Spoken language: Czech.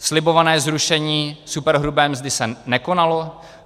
Slibované zrušení superhrubé mzdy se nekonalo.